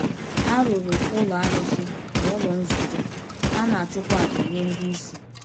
A rụrụ ụlọ arụsị na ụlọ nzukọ, a na-achụkwa aja nye ndị isi.